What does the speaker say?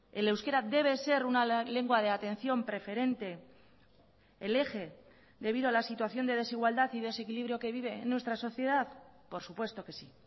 el euskera debe ser una lengua de atención preferente el eje debido a la situación de desigualdad y desequilibrio que vive en nuestra sociedad por supuesto que sí